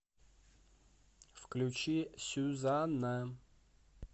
включи сюзанна